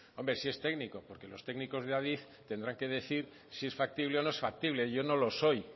hombre sí es técnico porque los técnicos de adif tendrán que decir si es factible o no es factible yo no lo soy